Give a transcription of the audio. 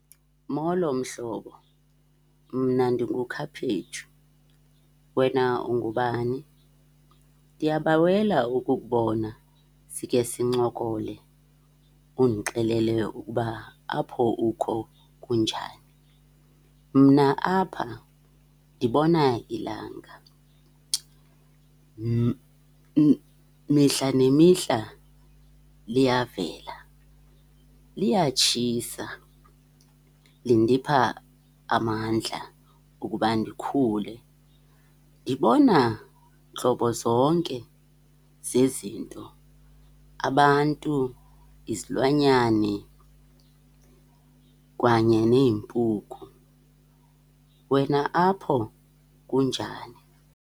Molo, mhlobo. Mna ndinguKhaphetshu. Wena ungubani? Ndiyabawela ukukubona sikhe sincokole undixelele ukuba apho ukho kunjani. Mna apha ndibona ilanga. Mihla nemihla liyavela, liyatshisa lindipha amandla ukuba ndikhule. Ndibona ntlobozonke zezinto. Abantu, izilwanyane kwanye neempuku. Wena apho kunjani?.